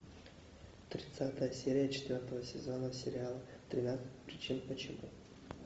тридцатая серия четвертого сезона сериал тринадцать причин почему